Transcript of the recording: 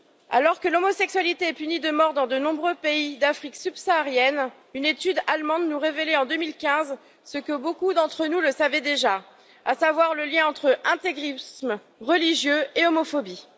Alors que l'homosexualité est punie de mort dans de nombreux pays d'Afrique subsaharienne, une étude allemande nous révélait en 2015 ce que beaucoup d'entre nous savaient déjà, à savoir le lien entre intégrisme religieux et homophobie.